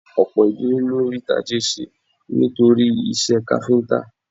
Ọ̀pọ̀ ìdílé ló rí tajé ṣe nítorí iṣẹ́ káfíńtà